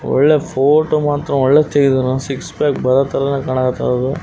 ಒಳ್ಳೆ ಫೊಟೊ ಮಾತ್ರ ಒಳ್ಳೆ ತೆಗ್ದಿದಾನ ಸಿಕ್ಸ್ ಪ್ಯಾಕ್ ಬರೋತರನೆ ಕಾಣಕತ್ತದ.